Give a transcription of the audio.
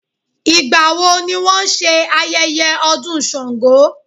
Ìgbà wo ni wón ṣe ayẹyẹ ọdún Sàngó?